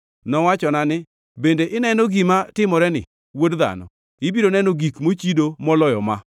Nowachona ni, “Bende ineno gima timoreni, wuod dhano? Ibiro neno gik mochido moloyo ma.”